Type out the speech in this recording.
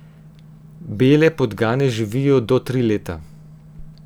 Bele podgane živijo do tri leta.